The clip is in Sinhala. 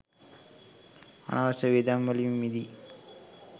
අනවශ්‍ය වියදම් වලින් මිදී